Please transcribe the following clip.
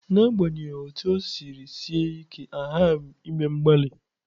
N'agbanyeghị otú ọ siri sie ike, a ghaghị ime mgbalị.